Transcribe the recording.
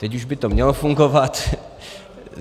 Teď už by to mělo fungovat.